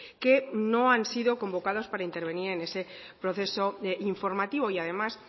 que no han sido convocados para intervenir en ese proceso informativo y además